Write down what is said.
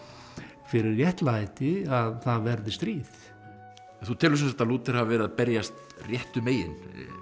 fyrir réttlæti að það verði stríð þú telur sem sagt að Lúther hafi verið að berjast réttu megin